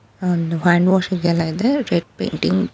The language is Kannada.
ಒಂದು ಹ್ಯಾಂಡ್ ವಾಷ್ ಇದೆಲ್ಲ ಇದೆ ರೆಡ್ ಪೈಂಟಿಂಗ್ --